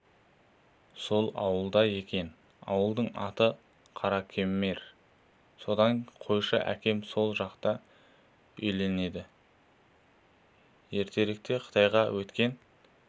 сол ауылда екен ауылдың аты қаракемер содан қойшы әкем сол жақта үйленеді ертеректе қытайға өткен